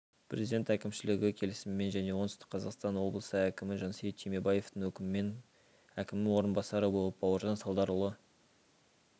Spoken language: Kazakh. президент әкімшілігі келісімімен және оңтүстік қазақстан облысы әкімі жансейіт түймебаевтың өкімімен әкімінің орынбасары болып бауыржан салдарұлы